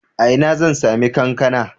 A ina zan sami kankana?